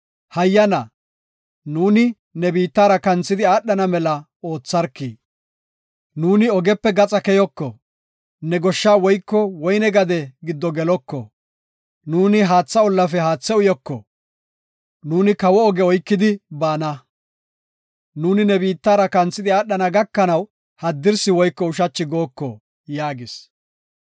Hayyana, nuuni ne biittaara kanthidi aadhana mela ootharki; nuuni ogepe gaxa keyoko; ne goshsha woyko woyne gade giddo geloko; nuuni haatha ollafe haathe uyoko. Nuuni kawo oge oykidi baana; nuuni ne biittara kanthidi aadhana gakanaw haddirsi woyko ushachi gooko” yaagis.